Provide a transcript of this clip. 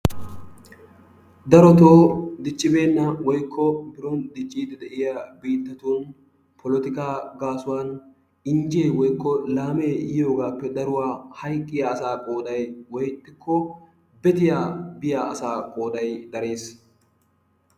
Darotoo diccibeenna woykko biron dicciiddi de'iya biittatun polotikkaa gaasuwan injjee woykko laamee yiyoogaappe daruwa hayqqiya asaa qooday woykko bettiya biya asaa qooday darees.